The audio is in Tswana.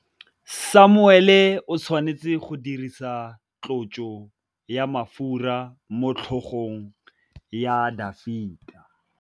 Samuele o tshwanetse go dirisa tlotsô ya mafura motlhôgong ya Dafita.